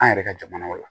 An yɛrɛ ka jamanaw la